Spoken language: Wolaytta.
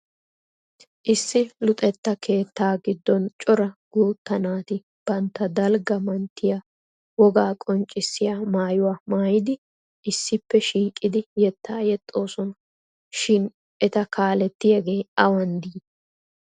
Issi Luxetta keettaa giddoni cora guutta naati bantta dalgga manttiya wogaa qonccissiya maayuwa maayidi issippe shiiqidi yettaa yexxosona. Shin eta kaalettiyagee awan dii?